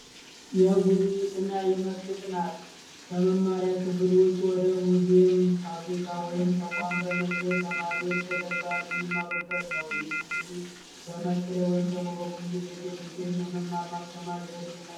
የጉብኝት እና የመስክ ጥናት ከመማሪያ ክፍል ውጪ ወደ ሙዚየም ፣ፋብሪካ ወይም ተቋም በመሄድ ተማሪዎች በተግባር የሚማሩበት ነው። ይህም እንግዲህ በመስክ ላይ ወይንም በጉብኝት የሚገኝ የመማር ዘዴ ነው።